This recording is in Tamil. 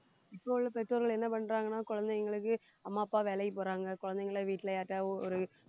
இப்போ உள்ள பெற்றோர்கள் என்ன பண்றாங்கன்னா குழந்தைங்களுக்கு அம்மா அப்பா வேலைக்கு போறாங்க குழந்தைகளை வீட்டுல யார்கிட்டயாவது ஒரு